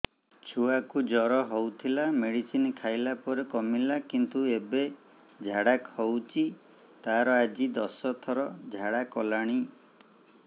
ଛୁଆ କୁ ଜର ହଉଥିଲା ମେଡିସିନ ଖାଇଲା ପରେ କମିଲା କିନ୍ତୁ ଏବେ ଝାଡା ହଉଚି ତାର ଆଜି ଦଶ ଥର ଝାଡା କଲାଣି